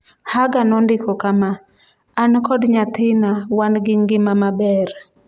Hagger nondiko kama: “An kod nyathina wan gi ngima maber.”